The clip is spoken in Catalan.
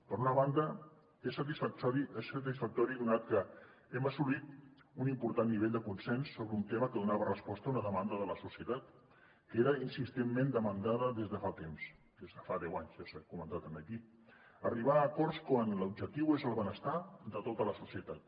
per una banda és satisfactori donat que hem assolit un important nivell de consens sobre un tema que dona resposta a una demanda de la societat que era insistentment demandada des de fa temps des de fa deu anys ja s’ha comentat aquí arribar a acords quan l’objectiu és el benestar de tota la societat